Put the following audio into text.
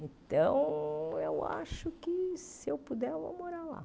Então, eu acho que, se eu puder, eu vou morar lá.